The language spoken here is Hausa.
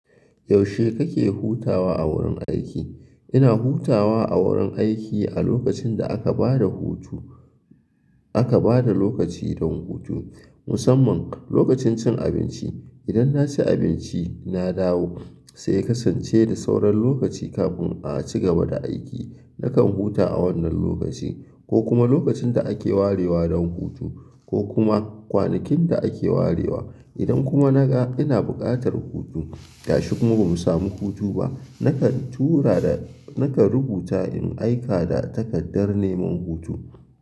Yaushe kake hutawa a wurin aiki? Ina hutawa a wurin aiki a lokacin da aka ba da hutu, aka ba da lokaci don hutu. Musamman lokacin cin abinci. Idan na ci abinci, na dawo sai kasance da sauran lokaci kafin a ci gaba da aiki. Nakan huta a wannan lokaci ko kuma lokacin da ake warewa don hutu ko kuma kwanakin da ake warewa. Idan kuma naga ina buƙatar hutu, gashi kuma ba mu samu hutu ba, nakan tura da, nakan rubuta in aika da takardar neman hutu.